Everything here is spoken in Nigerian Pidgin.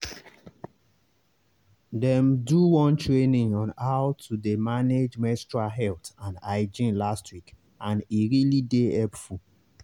them do one training on how to dey manage menstrual health and hygiene last week and e really dey helpful.